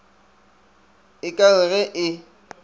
e ka re ge e